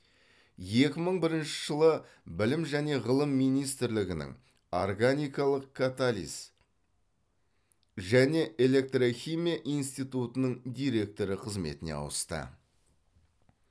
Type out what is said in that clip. екі мың бірінші жылы білім және ғылым министрлігінің органикалық катализ және электрохимия институтының директоры қызметіне ауысты